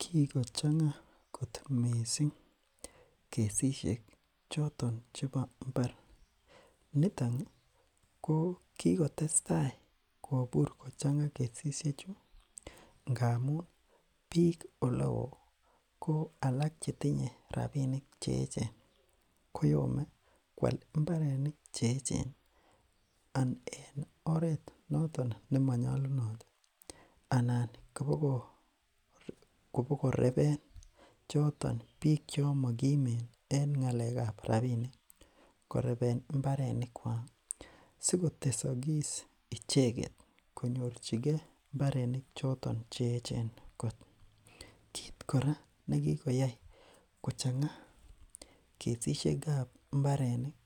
kikochangaa kot mising kesishek choton chebo mbar nitoni kikotesta kobur kochangaa kesishechu ngamun biik oleoo ko alak chetinye rapinik cheechen koyome koal mbarenik cheechen en oret noton nemonyolunot anan koboreben choton biik chon mokimen en ngalekap rapinik koreben mberikwak sikotesokis icheket konyorchikee mbarenik cheechen kot kit ake nekikoyai kochangaa kesishekab mbarenik